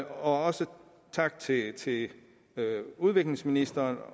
også tak til til udviklingsministeren